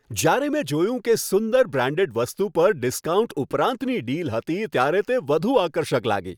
જ્યારે મેં જોયું કે સુંદર, બ્રાન્ડેડ વસ્તુ પર ડિસ્કાઉન્ટ ઉપરાંતની ડીલ હતી ત્યારે તે વધુ આકર્ષક લાગી.